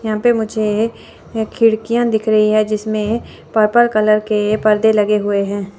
यहां पे मुझे खिड़कियां दिख रही हैं जिसमें पर्पल कलर के पर्दे लगे हुए हैं।